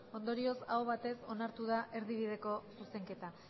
ondorioz aho batez onartu da erdibideko zuzenketa